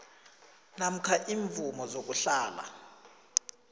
namkha iimvumo zokuhlala